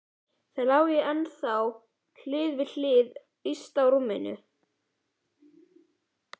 Þau lágu ennþá hlið við hlið yst á rúminu.